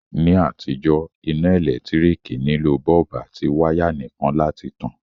Ní àtijó, iná ẹ́lẹ̀ntirikì nilò bulb àti wire nìkan láti tan